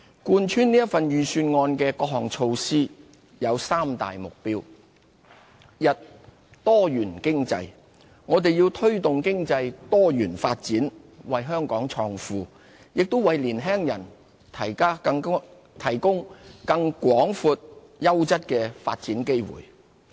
貫穿這份預算案的各項措施有三大目標：一多元經濟。我們要推動經濟多元發展，為香港創富，也為年輕人提供更廣闊、優質的發展機會。